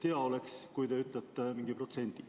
Hea oleks, kui te ütlete mingi protsendi.